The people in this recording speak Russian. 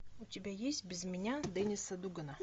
у тебя есть без меня денниса дугана